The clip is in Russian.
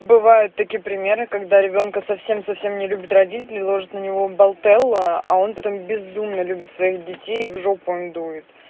бывают такие примеры когда ребёнка совсем совсем не любят родители ложат на него болт элла а он потом безумно любит своих детей в жопу им дует